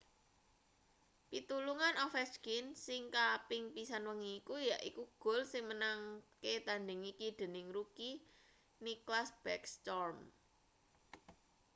pitulungan ovechkin sing kaping pisan wengi iki yaiku gol sing menangke-tandhing iki dening rookie nicklas backstrom